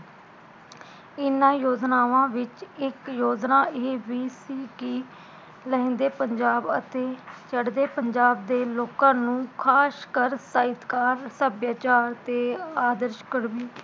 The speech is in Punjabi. ਇਹਨਾਂ ਯੋਜਨਾਵਾਂ ਵਿਚ ਇਕ ਯੋਜਨਾ ਇਹ ਵੀ ਸੀ ਕਿ ਲਹਿੰਦੇ ਪੰਜਾਬ ਅਤੇ ਚੜ੍ਹਦੇ ਪੰਜਾਬ ਦੇ ਲੋਕਾਂ ਨੂੰ ਖਾਸ ਕਰ ਤਾਇਸਕਾਰ, ਸੱਭਿਆਚਾਰ ਤੇ ਅਦਾਰਸ਼ਕਰਮੀ